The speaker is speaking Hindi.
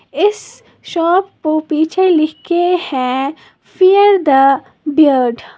इस शॉप पो पीछे लिख के है फीयर द बियर्ड ।